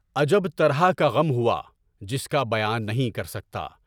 عجب طرح کا غم ہوا، جس کا بیان نہیں کر سکتا۔